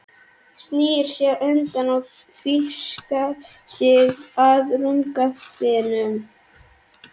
Snýr sér undan og fikrar sig að rúmgaflinum.